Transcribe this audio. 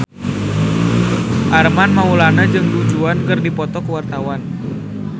Armand Maulana jeung Du Juan keur dipoto ku wartawan